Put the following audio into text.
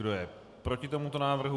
Kdo je proti tomuto návrhu?